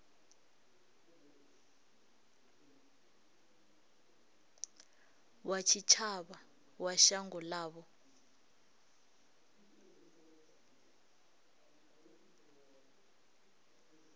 wa tshitshavha wa shango ḽavho